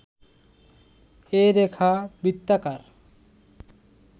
এ রেখা বৃত্তাকার